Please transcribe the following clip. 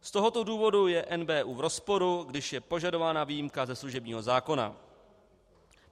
Z tohoto důvodu je NBÚ v rozporu, když je požadována výjimka ze služebního zákona.